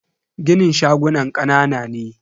ginin shagunan kanana ne.